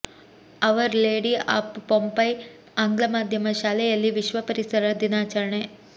hour lady of Pompeii ಆಂಗ್ಲಮಾಧ್ಯಮ ಶಾಲೆಯಲ್ಲಿ ವಿಶ್ವ ಪರಿಸರ ದಿನಾಚರಣೆ